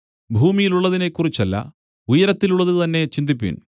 ഭൂമിയിലുള്ളതിനെക്കുറിച്ചല്ല ഉയരത്തിലുള്ളതുതന്നെ ചിന്തിപ്പിൻ